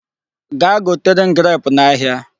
Gaa gotere m grape n'ahịa.